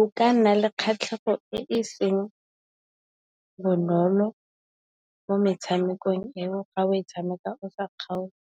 O ka nna le kgatlhego e e seng bonolo mo metshamekong eo. Ga o e tshameka o sa kgaotse,